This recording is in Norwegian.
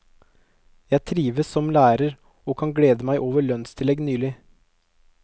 Jeg trives som lærer og kan glede meg over lønnstillegg nylig.